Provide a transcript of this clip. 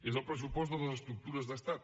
és el pressupost de les estructures d’estat